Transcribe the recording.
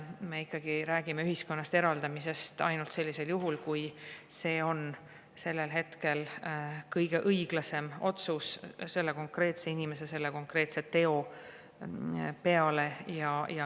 Me ikkagi räägime ühiskonnast eraldamisest ainult sellisel juhul, kui see on sellel hetkel kõige õiglasem otsus selle konkreetse inimese konkreetse teo peale.